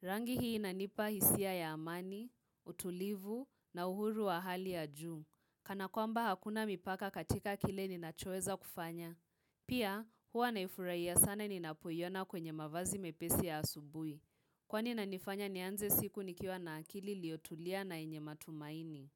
Rangi hii inanipa hisia ya amani, utulivu na uhuru wa hali ya juu, kana kwa mba hakuna mipaka katika kile ni nachoeza kufanya. Pia huwa naifurahiya sana ninapoiona kwenye mavazi mepesi ya asubuhi. Kwani nanifanya nianze siku nikiwa na akili liotulia na inye matumaini.